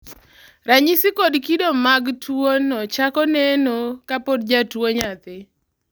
ranyisi kod kido mag tuwono chako neno kapod jatuwo nyathii